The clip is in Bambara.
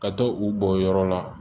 Ka to u bɔnyɔrɔ la